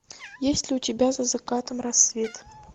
есть ли у тебя за закатом рассвет